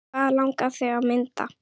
Hvað langar þig að mynda?